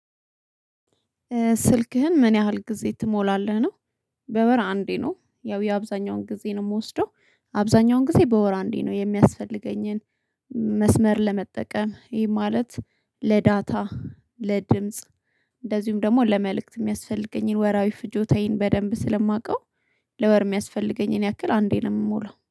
ስልክህን ምን ያህል ጊዜ ትሞላለህ ነው በወር አንዴ ነው ያው የአብዛኛውን ጊዜ ነው ምወስደው አብዛኛውን ጊዜ በወር አንዴ ነው የሚያስፈልገኝን፦ መስመር ለመጠቀም ይሄ ማለት ለዳታ ለድምጽ እንደዚሁም ደግሞ ለመልእክት ሚያስፈልገኝን ወራዊ ፍጆታዬን በደንብ ስለማውቀው ለወር ሚያስፈልገኝን ያክል አንዴ ነው የምሞላው።